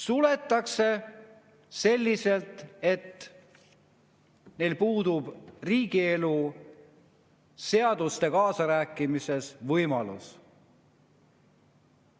Suletakse selliselt, et meil puudub riigielu ja seaduste puhul kaasarääkimises võimalus.